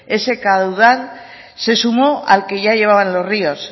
ese caudal se sumó al que ya llevaban los ríos